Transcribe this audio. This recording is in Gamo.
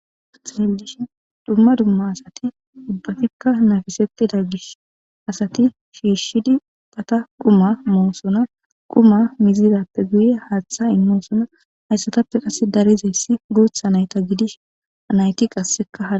Hayis ta xelishin duma duma asati ubatika hemetesitida ishin asati shishidi quma mossona quma mizidape guye hatha imosona hayisatape darizayis gutha nayinayita gidishin ha gutha nayiti